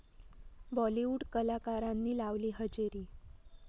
बॉलिवूड कलाकारांनी लावली हजेरी